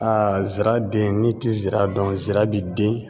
zira den n'i ti zira dɔn zira bi den